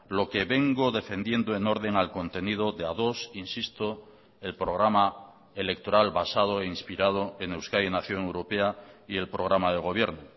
lo que vengo defendiendo en orden al contenido de ados insisto el programa electoral basado e inspirado en euskadi nación europea y el programa de gobierno